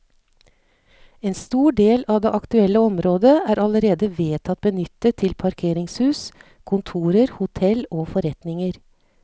En stor del av det aktuelle området er allerede vedtatt benyttet til parkeringshus, kontorer, hotell og forretninger.